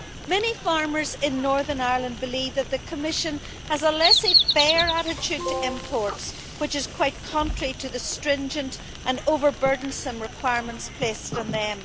Many farmers in Northern Ireland believe that the Commission has a laissez faire attitude to imports which is quite contrary to the stringent and over burdensome requirements placed on them.